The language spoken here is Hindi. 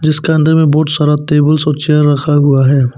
जिसके अंदर में बहुत सारा टेबल्स और चेयर रखा हुआ है।